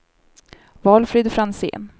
Valfrid Franzén